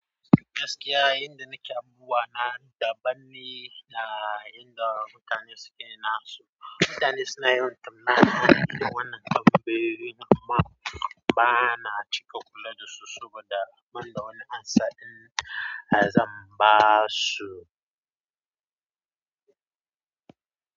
Gaskiya, inda nake abubuwa na daban ne da inda mutane suke na su. Mutane suna yin tambaya akan wannan abubuwan, amma ba na cika kula da su saboda ban da wani amsa ɗin za ba su.